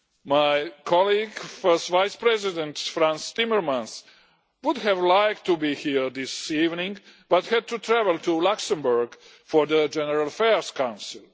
My colleague, First Vice-President Frans Timmermans would have liked to be here this evening, but had to travel to Luxembourg for the General Affairs Council.